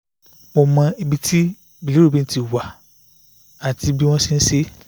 mo mọ ibi tí bilirubin ti wá àti bí wọ́n ṣe ń ṣe é